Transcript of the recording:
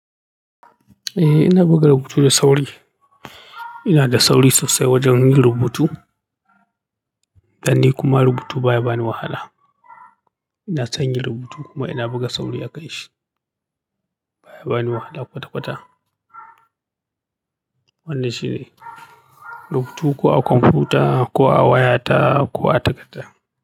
Eh ina buga rubutu da sauri. Inada sauri sosai wajen rubutu, dan ni kuma rubuta baya bani wahala. Ina son yin rubutu kuma ina buga sauri a kanshi. Baya bani wahala kwata-kwata. Wannan shine rubutu ko a kwamfuta ko a waya ta ko a takarda.